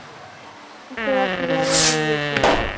তোরা কিভাবে গিয়েছিস?